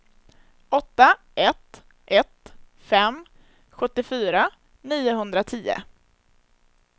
åtta ett ett fem sjuttiofyra niohundratio